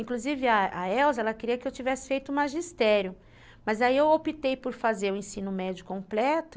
Inclusive, a Elza, ela queria que eu tivesse feito magistério, mas aí eu optei por fazer o ensino médio completo.